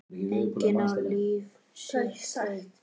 Enginn á líf sitt einn.